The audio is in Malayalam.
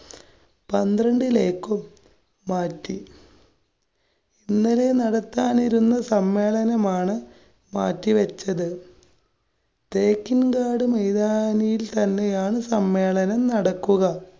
പന്ത്രണ്ടിലേക്കും മാറ്റി. ഇന്നലെ നടത്താനിരുന്ന സമ്മേളനമാണ്‌ മാറ്റി വെച്ചത്. തേക്കിന്‍കാട്‌ മൈതാനിയില്‍ തന്നെയാണ് സമ്മേളനം നടക്കുക.